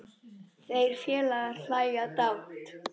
Þeir félagar hlæja dátt.